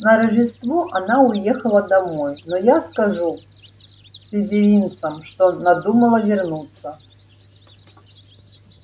на рождество она уехала домой но я скажу слизеринцам что надумала вернуться